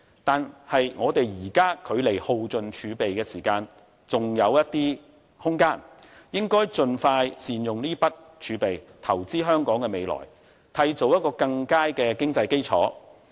但是，我們現在距離耗盡儲備仍有一些空間，應該盡快善用這筆儲備來投資於香港的未來，締造更佳的經濟基礎。